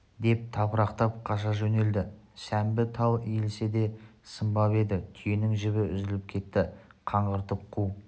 деп тапырақтап қаша жөнелді сәмбі тал иілсе де сынбап еді түйенің жібі үзіліп кетті қаңғыртып қу